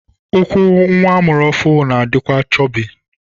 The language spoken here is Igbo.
Ụkwụ nwa amụrụ ọhụrụ na-adịkwa chọbị.